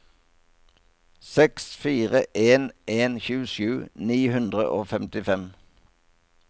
seks fire en en tjuesju ni hundre og femtifem